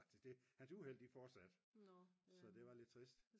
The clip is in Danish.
hans uheld de fortsatte så det var lidt trist